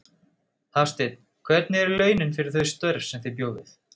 Hafsteinn: Hvernig eru launin fyrir þau störf sem þið bjóðið?